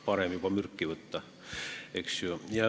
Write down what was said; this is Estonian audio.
Parem juba mürki võtta, eks ju.